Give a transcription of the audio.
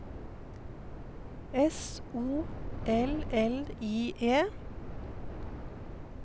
S O L L I E